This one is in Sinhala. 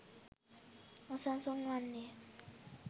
නොසන්සුන් වන්නේය.